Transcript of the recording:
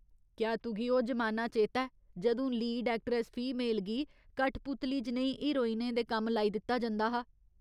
क्या तुगी ओह् जमाना चेता ऐ जदूं लीड एक्ट्रैस फीमेल गी कठपुतली जनेही हीरोइनें दे कम्म लाई दित्ता जंदा हा ?